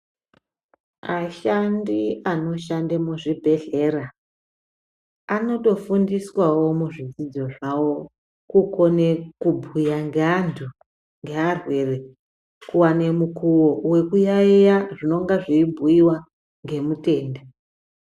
Ashandi anoshande muzvibhedhlera anotofundiswawo muzvidzidzo zvavo kukone kubhuya ngeantu , ngearwere kuwane mukoo wekuyayeya zvinonga zveibhuyiwa ngemutende